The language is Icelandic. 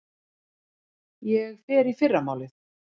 Ég fer í fyrramálið.